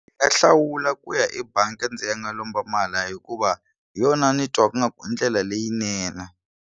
Ndzi nga hlawula ku ya ebangi ndzi ya lomba mali hikuva hi yona ni twaku nga ku i ndlela leyinene.